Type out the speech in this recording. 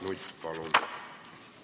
Mart Nutt, palun!